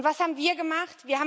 Und was haben wir gemacht?